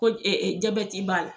Ko jabeti b'a la.